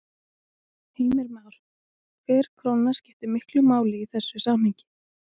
Heimir Már: Hver króna skiptir miklu máli í þessu samhengi?